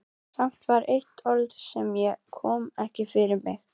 Samt var eitt orð sem ég kom ekki fyrir mig.